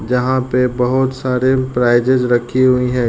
जहा पे बहुत सारे प्राइजेज रखी हुई हैं।